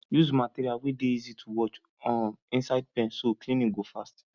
use material wey dey easy to wash um inside pen so cleaning go fast